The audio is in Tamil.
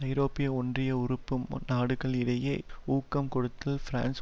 ஐரோப்பிய ஒன்றிய உறுப்பு நாடுகள் இடையே ஊக்கம் கொடுத்து பிரான்ஸ்